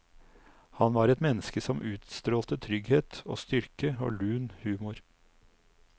Han var et menneske som utstrålte trygghet og styrke og lun humor.